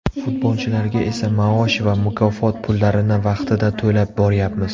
Futbolchilarga esa maosh va mukofot pullarini vaqtida to‘lab boryapmiz.